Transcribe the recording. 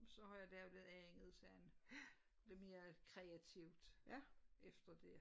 Så har jeg lavet andet sådan lidt mere kreatvit efter det